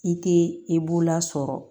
I tɛ i bolola sɔrɔ